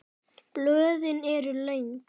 Blöðin eru löng.